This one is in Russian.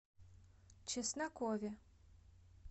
чеснокове